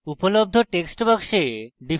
উপলব্ধ text box